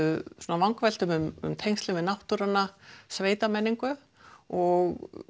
vangaveltum um tengslin við náttúruna sveitamenningu og